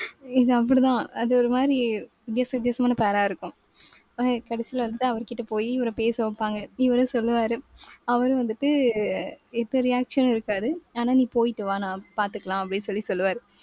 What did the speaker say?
இது அப்படித்தான் அது ஒரு மாதிரி வித்தியாச வித்தியாசமான pair ஆ இருக்கும். கடைசியில வந்துட்டு அவர் கிட்ட போயி இவரை பேச வைப்பாங்க. இவரும் சொல்லுவாரு. அவரும் வந்துட்டு இப்ப reaction இருக்காது. ஆனா, நீ போயிட்டு வா நான் பாத்துக்கலாம் அப்படின்னு சொல்லி சொல்லுவாரு.